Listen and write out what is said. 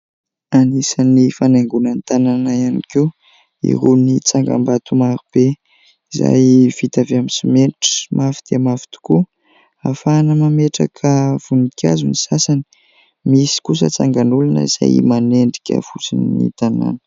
Anisan'ny fanaingona ny tanàna ihany koa irony tsangambato marobe izay vita avy amin'ny simenitra, mafy dia mafy tokoa. Ahafahana mametraka voninkazo ny sasany, misy kosa tsangan'olona izay manendrika fotsiny ny tanàna.